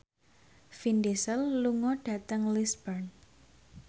Vin Diesel lunga dhateng Lisburn